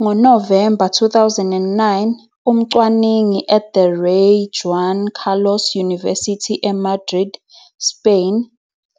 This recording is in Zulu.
Ngo-November 2009, umcwaningi at the Rey Juan Carlos University e Madrid, Spain,